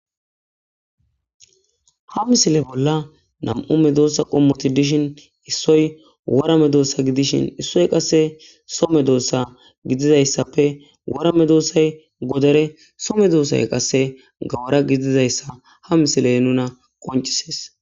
Ha misile bolla nam'ume doossa qommoti dishin issoy warame doossa gidishin issoy qasse some doossa gididayssappe warame doossay godere some doossay qasse gawara gididayssa ha misiley nuna qoncises